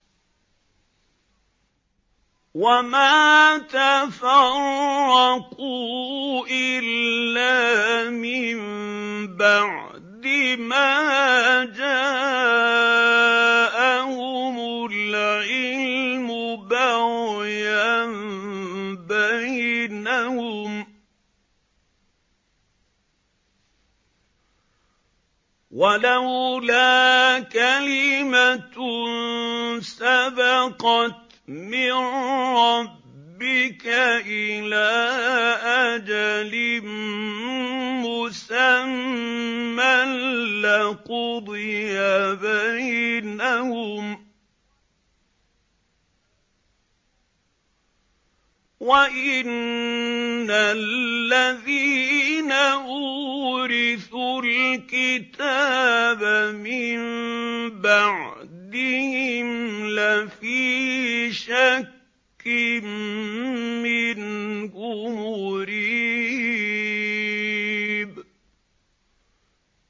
وَمَا تَفَرَّقُوا إِلَّا مِن بَعْدِ مَا جَاءَهُمُ الْعِلْمُ بَغْيًا بَيْنَهُمْ ۚ وَلَوْلَا كَلِمَةٌ سَبَقَتْ مِن رَّبِّكَ إِلَىٰ أَجَلٍ مُّسَمًّى لَّقُضِيَ بَيْنَهُمْ ۚ وَإِنَّ الَّذِينَ أُورِثُوا الْكِتَابَ مِن بَعْدِهِمْ لَفِي شَكٍّ مِّنْهُ مُرِيبٍ